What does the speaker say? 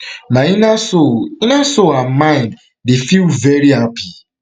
my inner soul inner soul and mind dey feel very happy